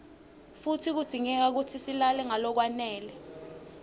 futsi kudzingeka silale ngalokwanele